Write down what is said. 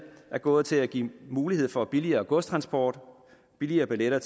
er gået til at give mulighed for billigere godstransport billigere billetter